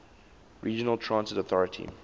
regional transit authority